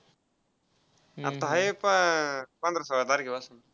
आता आहे प~ पंधरा सोळा तारखेपासून.